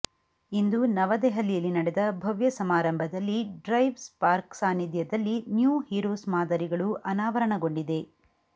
ಇಂದು ನವದೆಹಲಿಯಲ್ಲಿ ನಡೆದ ಭವ್ಯ ಸಮಾರಂಭದಲ್ಲಿ ಡ್ರೈವ್ ಸ್ಪಾರ್ಕ್ ಸಾನಿಧ್ಯದಲ್ಲಿ ನ್ಯೂ ಹೀರೋಸ್ ಮಾದರಿಗಳು ಅನಾವರಣಗೊಂಡಿದೆ